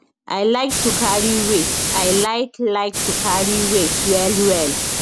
i like to carry weight i like like to carry weight wellwell